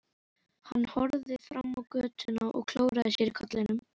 Hann horfði fram á götuna og klóraði sér í kollinum.